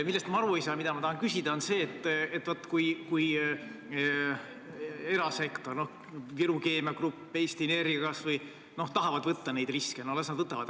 Millest ma aru ei saa ja mille kohta ma tahan küsida, on see, et kui erasektor, näiteks Viru Keemia Grupp, või kas või Eesti Energia tahavad võtta neid riske, no las nad võtavad.